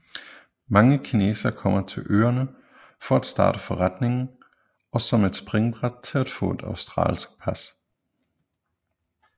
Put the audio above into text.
Mange kinesere kommer til øerne for at starte forretning og som et springbræt til at få et australsk pas